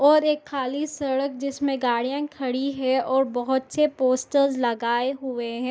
और एक खाली सड़क जिसमे गाड़ियां खड़ी है और बहुत से पोस्टर्स लगाये हुए हैं।